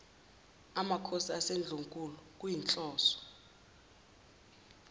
makhosi asendlunkulu kuyinhloso